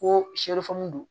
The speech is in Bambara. Ko don